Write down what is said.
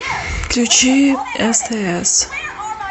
включи стс